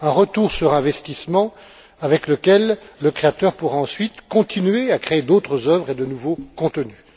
un retour sur investissement grâce auquel le créateur pourra ensuite continuer à créer d'autres œuvres et de nouveaux contenus.